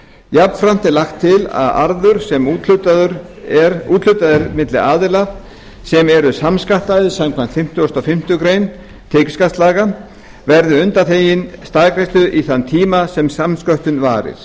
jafnframt er lagt til að arður sem úthlutað er milli aðila sem eru samskattaðir samkvæmt fimmtugustu og fimmtu grein tekjuskattslaga verði undanþeginn staðgreiðslu í þann tíma sem samsköttun varir